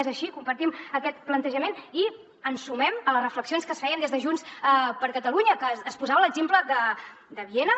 és així compartim aquest plantejament i ens sumem a les reflexions que es feien des de junts per catalunya que es posava l’exemple de viena